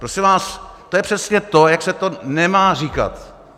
Prosím vás, to je přesně to, jak se to nemá říkat.